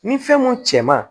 Ni fɛn mun cɛ ma